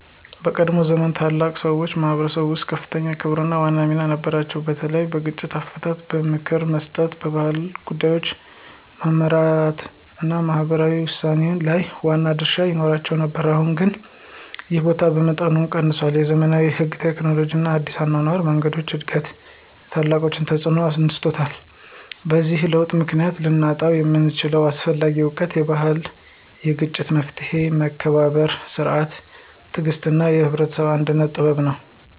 በቀድሞ ዘመን ታላላቅ ሰዎች በማኅበረሰብ ውስጥ ከፍተኛ ክብርና ዋና ሚና ነበራቸው፤ በተለይ በግጭት አፈታት፣ በምክር መስጠት፣ በባህል ጉዳዮች መመራት እና በማህበራዊ ውሳኔ ላይ ዋና ድርሻ ይኖራቸው ነበር። አሁን ግን ይህ ቦታ በመጠኑ ቀንሷል፤ የዘመናዊ ሕግ፣ ቴክኖሎጂ እና አዲስ የአኗኗር መንገዶች እድገት የታላቆችን ተፅዕኖ አነስቷል። በዚህ ለውጥ ምክንያት ልናጣው የምንችለው አስፈላጊ እውቀት የባህላዊ የግጭት መፍትሔ፣ የመከባበር ሥርዓት፣ የትዕግሥት እና የህብረተሰብ አንድነት ጥበብ ነው።